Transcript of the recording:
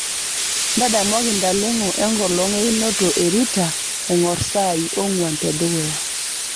ntadamuaki ntalengo enkolong einoto e rita engor saai onguan te dukuya